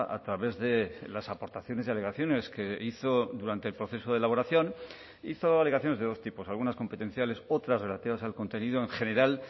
a través de las aportaciones y alegaciones que hizo durante el proceso de elaboración hizo alegaciones de dos tipos algunas competenciales otras relativas al contenido en general